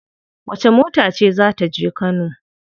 Wacce mota ce za ta je kano?